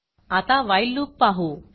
आता व्हाईल loopवाइल लूप पाहू